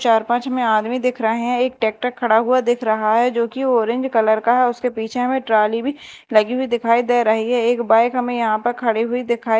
चार पांच हमें आदमी दिख रहे हैं एक ट्रैक्टर खड़ा हुआ दिख रहा है जोकि ऑरेंज कलर का है उसके पीछे हमें ट्राली भी लगी हुई दिखाई दे रही है एक बाइक हमें यहां पे खड़ी हुई दिखा--